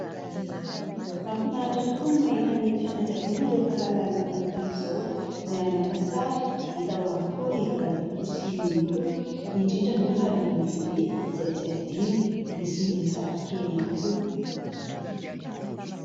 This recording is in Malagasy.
Mahafinaritra tokoa ny mahita ny fianakaviana rehefa lanonana tahaka izao. Miara-maka sary hita ao avokoa ry Dadatoa sy Nenitoa indrindra moa fa ry Bebe izay tsy hadino misy ny zafikely ihany koa.